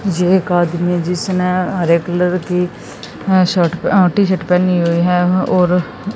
ये एक आदमी जिसने हरे कलर की अह शर्ट अह टी शर्ट पेहनी हुई है और--